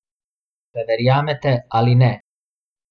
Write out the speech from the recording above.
Če verjamete ali ne.